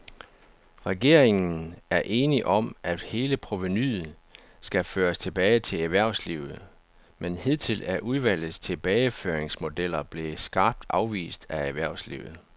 Regeringen er enig om, at hele provenuet skal føres tilbage til erhvervslivet, men hidtil er udvalgets tilbageføringsmodeller blevet skarpt afvist af erhvervslivet.